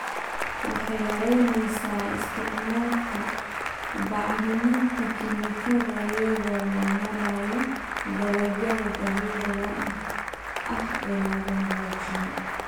Waxay yaraynaysaa isticmaalka bacriminta kiimikada iyada oo loo marayo dalagyada dabiiciga ah ee la hagaajiyay.